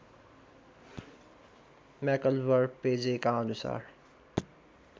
म्याक्लभर पेजेका अनुसार